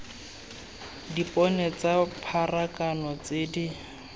dipone tsa pharakano tse di